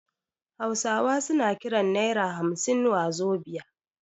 Hausawa suna kiran naira hamsin wazobia